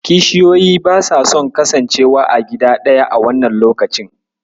Kishiyoyi basa son kasancewa a gida ɗaya a wannan lokacin.